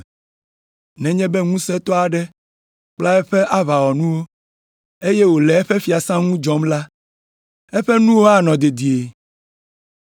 Nenye be ŋusẽtɔ aɖe kpla eƒe aʋawɔnuwo, eye wòle eƒe fiasã ŋu dzɔm la, eƒe nuwo anɔ dedie.